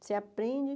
Você aprende.